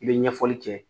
I bɛ ɲɛfɔli kɛ